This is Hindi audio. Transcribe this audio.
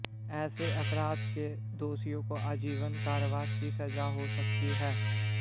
ऐसे अपराध के दोषियों को आजीवन कारावास की सजा हो सकती है